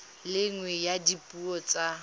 le nngwe ya dipuo tsa